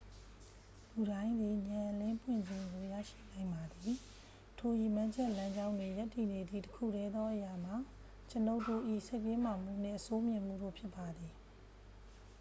လူတိုင်းသည် ဉာဏ်အလင်းပွင့်ခြင်းကို ရရှိနိုင်ပါသည် ထိုရည်မှန်းချက်လမ်းကြောင်းတွင် ရပ်တည်နေသည့် တစ်ခုတည်းသောအရာမှာ ကျွန်ုပ်တို့၏ စိတ်တင်းမာမှုနှင့် အဆိုးမြင်မှုတို့ဖြစ်ပါသည်